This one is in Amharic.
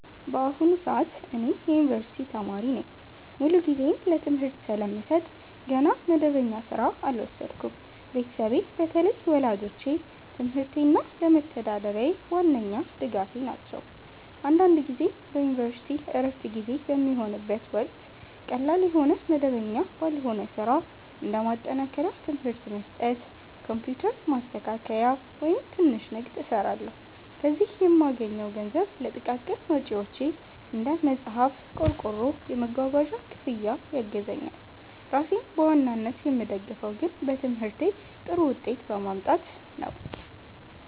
በአሁኑ ሰዓት እኔ የዩኒቨርሲቲ ተማሪ ነኝ። ሙሉ ጊዜዬን ለትምህርቴ ስለምሰጥ ገና መደበኛ ሥራ አልወሰድኩም። ቤተሰቤ፣ በተለይ ወላጆቼ፣ ለትምህርቴ እና ለመተዳደሪያዬ ዋነኛ ድጋፌ ናቸው። አንዳንድ ጊዜ በዩኒቨርሲቲ ዕረፍት ጊዜ በሚሆንበት ወቅት ቀላል የሆነ መደበኛ ባልሆነ ሥራ (እንደ ማጠናከሪያ ትምህርት መስጠት፣ ኮምፒውተር ማስተካከያ፣ ወይም ትንሽ ንግድ) እሰራለሁ። ከዚህ የምገኘው ገንዘብ ለጥቃቅን ወጪዎቼ (እንደ መጽሐፍ፣ ቆርቆሮ፣ የመጓጓዣ ክፍያ) ያግዘኛል። ራሴን በዋናነት የምደግፈው ግን በትምህርቴ ጥሩ ውጤት በማምጣት ነው።